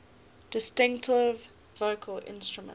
distinctive vocal instrument